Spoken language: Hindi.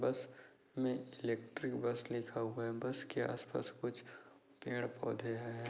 बस में इलेक्ट्रिक बस लिखा हुआ है। बस के आस-पास कुछ पेड़-पौधे हैं।